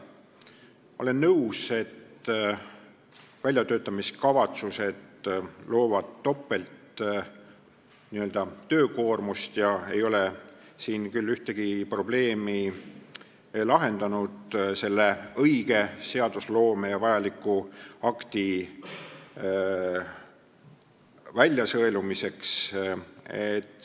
Ma olen nõus, et väljatöötamiskavatsused tekitavad topelttöökoormust ja need ei ole küll ühtegi probleemi lahendanud, aidanud vajalikke õigusakte välja sõeluda.